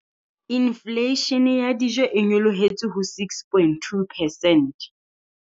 Infleishene ya dijo e nyolohetse ho 6.2 percent.